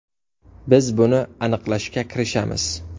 Biz buni aniqlashga kirishamiz.